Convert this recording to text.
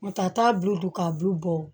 N'o tɛ a t'a bulu dun ka bu bɔ